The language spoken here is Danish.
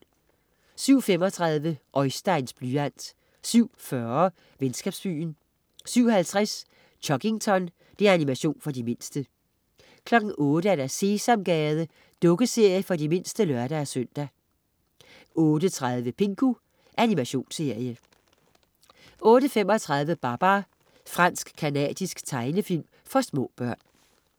07.35 Oisteins blyant 07.40 Venskabsbyen 07.50 Chuggington. Animation for de mindste 08.00 Sesamgade. Dukkeserie for de mindste (lør-søn) 08.30 Pingu. Animationsserie 08.35 Babar. Fransk-canadisk tegnefilm for små børn